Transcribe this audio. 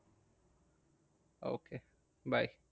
Okay bye.